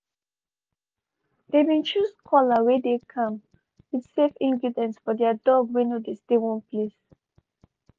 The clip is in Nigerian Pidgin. they been choose collar wey dey calm with safe ingredients for their dog wey no de stay one place